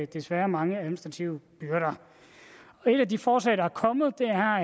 desværre er mange administrative byrder et af de forslag der er kommet